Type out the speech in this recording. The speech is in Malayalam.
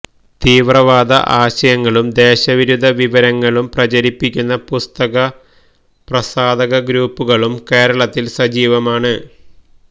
തീവ്രവാദ ആശയങ്ങളും ദേശവിരുദ്ധ വിവരങ്ങളും പ്രചരിപ്പിക്കുന്ന പുസ്തക പ്രസാധക ഗ്രൂപ്പുകളും കേരളത്തില് സജീവമാണ്